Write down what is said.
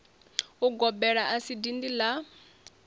ugobela a si dindi la